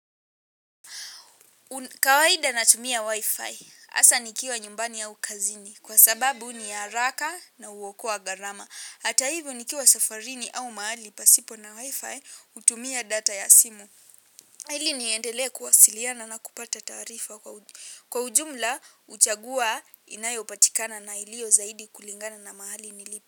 Kawaida natumia wifi. Asa nikiwa nyumbani au kazini kwa sababu ni haraka na huokowa gharama. Hata hivyo nikiwa safarini au mahali pasipo na wifi hutumia data ya simu. Hili niendelea kuwasiliana na kupata taarifa kwa ujumla uchagua inayo patikana na iliyo zaidi kulingana na mahali nilipo.